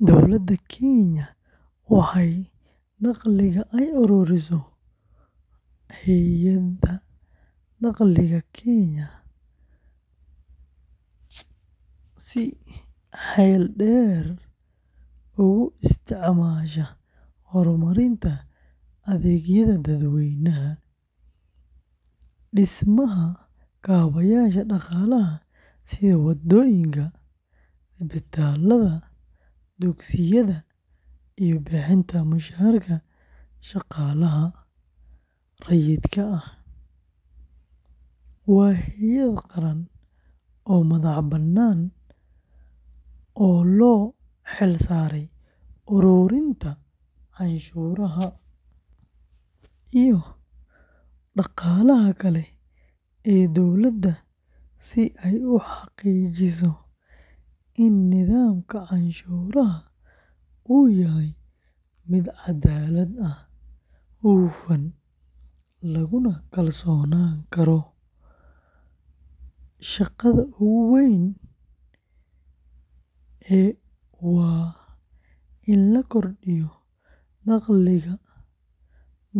Dowladda Kenya waxay dakhliga ay ururiso Hay’adda Dakhliga Kenya ee si xeel dheer ugu isticmaashaa horumarinta adeegyada dadweynaha, dhismaha kaabayaasha dhaqaalaha sida waddooyinka, isbitaallada, dugsiyada, iyo bixinta mushaharka shaqaalaha rayidka ah, waa hay’ad qaran oo madax-bannaan oo loo xil saaray ururinta canshuuraha iyo dhaqaalaha kale ee dowladda si ay u xaqiijiso in nidaamka canshuuraha uu yahay mid caddaalad ah, hufan, laguna kalsoonaan karo. Shaqada ugu weyn ee waa in la kordhiyo dakhliga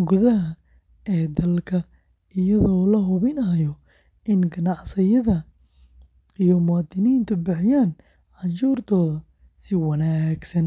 gudaha ee dalka iyadoo la hubinayo in ganacsiyada iyo muwaadiniinta bixiyaan canshuurtooda si waafaqsan sharciga.